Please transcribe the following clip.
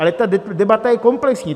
Ale ta debata je komplexní.